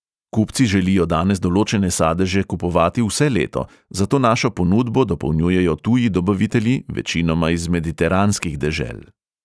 Kupci želijo danes določene sadeže kupovati vse leto, zato našo ponudbo dopolnjujejo tuji dobavitelji, večinoma iz mediteranskih dežel.